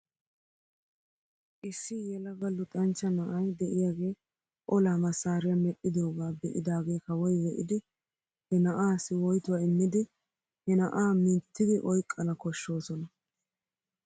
Issi yelaga luxanchcha na'ay de'iyaagee olaa masaariyaa medhdhidoogaa be'idagee kawoy be'idi he na'aassi woytuwaa immidi he na'aa mittidi oyqqana koshshoosona.